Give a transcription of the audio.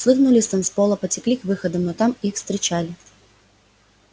схлынули с танцпола потекли к выходам но там их встречали